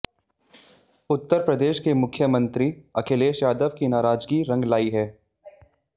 उत्तर प्रदेश के मुख्यमंत्री अखिलेश यादव की नाराजगी रंग लाई है